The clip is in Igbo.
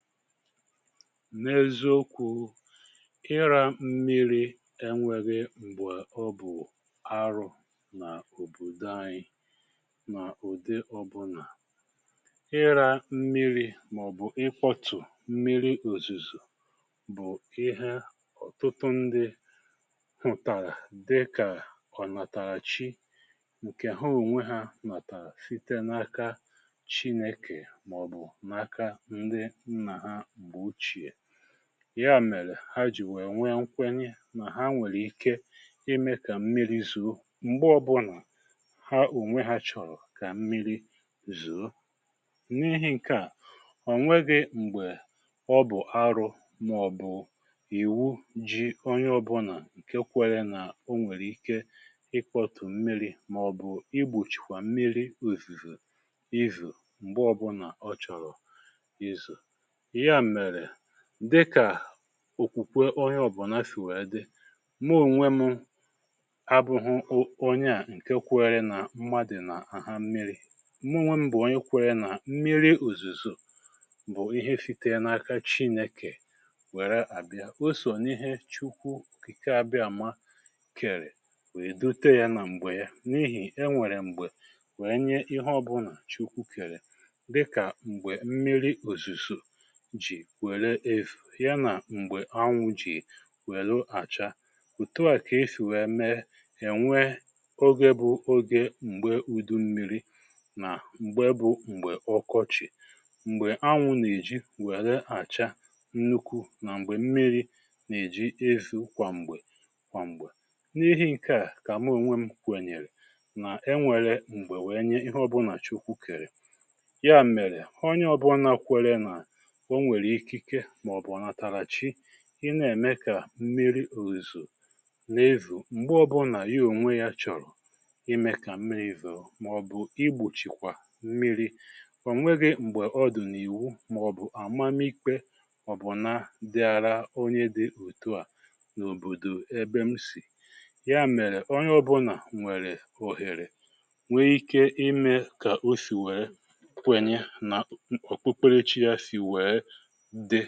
N’eziokwu, ịrȧ mmiri enwėghi m̀gbè ọ bù arụ na òbòdò anyị mà ụdị ọbụnà. Ịrȧ mmiri màọ̀bụ̀ ịkpọtù mmiri òzùzò bụ ịhė ọ̀tụtụ ndị hụ̀tàrà dịkà kọ̀ ọnàtàràchi, ǹkè ha ònwe hȧ nàtàra site n’aka Chinėkè màọ̀bù n’aka ndị ha mgbe ochie. Ya mèrè, ha jì wee nwèe nkwenye nà ha nwèrè ike imė kà mmiri zoo m̀gbe ọbụnà ha ònwe ha chọ̀rọ̀ kà mmiri zoo. N’ihi ǹkè a, ọ̀nweghi m̀gbè ọ bụ̀ arụ màọ̀bụ̀ ìwù jí onye ọbụnà ǹke kwéré nà o nwèrè ike ịkpọ̀tù mmiri màọ̀bụ̀ igbòchikwà mmiri òzùzò ízò m̀gbe ọbụnà ọ chọ̀rọ̀ izo. Ya mere, dịka òkwùkwé onye ọ̀bụna sìwèrè dị, mụ ònwe mụ abụghụ um onye à ǹke kwėrė nà mmadụ̀ nà-aghȧ mmiri. Mụ onwe m bụ̀ onye kwéré nà mmiri òzùzò bụ̀ ihe site n’aka Chinekè wèrè àbịa, o sọ̀ n’ihe Chukwu òkìke abịaàma kèrè wèe dote yȧ nà m̀gbè ya n’ihì e nwèrè m̀gbè wèe nye ihe ọbụnà Chukwu kèrè dịka mgbe mmiri òzùzò ji were yá nà m̀gbè anwụ jì wèlu àcha. Òtù a kà esì wee mee, è nwe ógè bụ ógè m̀gbe udu mmiri nà m̀gbe bụ m̀gbè ọkọchị̀, m̀gbè anwụ̇nà-èji wère àchá nnukwu nà m̀gbè mmiri nà-èji ezo kwàm̀gbè kwàm̀gbè. N’ihi ǹke à kà mụ onwe m kwènyèrè nà e nwèrè m̀gbè wèe nye ihe ọbụnà Chukwu kèrè. Ya mèrè, onye ọbụna kwere nà o nwèrè ikike màọbụ ọǹàtàràchi ị na-ème kà mmiri òzò na-ézò m̀gbè ọbụnà ya onwe ya chọ̀rọ̀ ime kà mmiri zoo màọ̀bụ̀ igbochìkwà mmiri, ò nwegị m̀gbè ọ dụ̀ n’ìwu màọ̀bụ̀ àmamiikpe ọ̀bụ̀na dịara onye dị òtu à n’òbòdò ebe m sì. Ya mèrè, onye ọbụnà nwèrè òhèrè, nwee ike ime kà o sì wèe kwènyè nà Okpukperechi ya sì wèe dị.